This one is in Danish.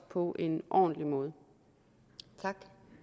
på en ordentlig måde når